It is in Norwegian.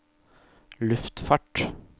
luftfart